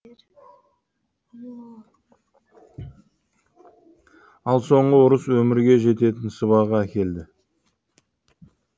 ал соңғы ұрыс өмірге жететін сыбаға әкелді